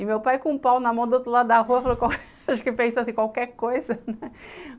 E meu pai com o pau na mão do outro lado da rua, acho que pensou assim, qualquer coisa, né?